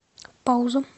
пауза